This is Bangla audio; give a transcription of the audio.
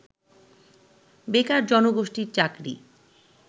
বেকার জনগোষ্ঠীর চাকরি